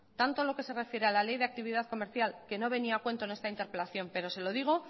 tanto lo que se refiere a la ley de actividad comercial que no venía a cuento en esta interpelación pero se lo digo